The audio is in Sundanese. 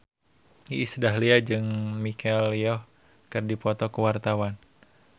Iis Dahlia jeung Michelle Yeoh keur dipoto ku wartawan